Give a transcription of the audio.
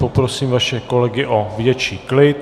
Poprosím vaše kolegy o větší klid.